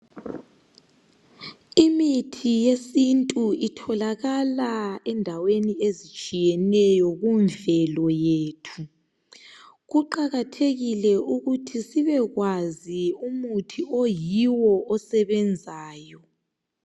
Imithi yesintu itholakala endaweni ezitshiyeneyo kumvelo yethu. Kuqakathekile ukuthi sibekwazi umuthi oyiwo osebenzayo.